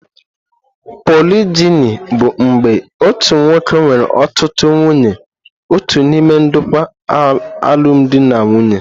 Polijini bụ mgbe otu nwoke nwere ọtụtụ nwunye otu n'ime ndokwa alụmdi na nwunye.